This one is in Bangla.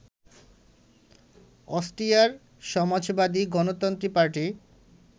অস্ট্রিয়ার সমাজবাদী গণতন্ত্রী পার্টি